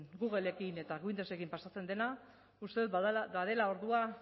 googlekin eta windosekin pasatzen dena uste dut badela ordua